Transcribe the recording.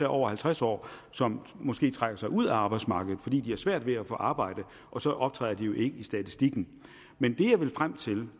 over halvtreds år som måske trækker sig ud af arbejdsmarkedet fordi de har svært ved at få arbejde og så optræder de jo ikke i statistikken men det jeg vil frem til